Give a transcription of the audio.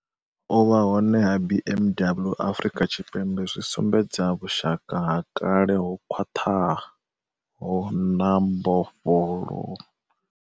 U vha hone ha BMW Afrika Tshipembe zwi sumbedza vhushaka ha kale ho khwaṱhaho na mbofholo.